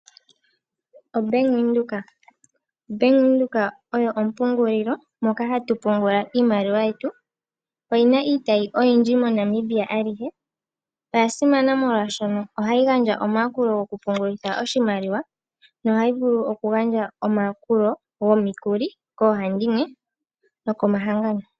OBank Windhoek. Bank Windhoek oyo ompungulilo moka hatu pungula iimaliwa yetu. Oyina iitayi oyindji moNamibia alihe. Oya simana molwaashono ohayi gandja omayakulo goku pungulitha oshimaliwa nohayi vulu oku gandja omayakulo gomikuli koohandimwe nokomahangano.